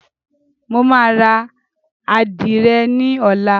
Mo máa ra Àdìrẹ ní ọlá.